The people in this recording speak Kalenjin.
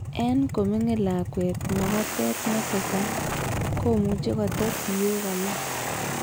En komingin lakwet magatet ne tesat, komuche kotes siyok alak.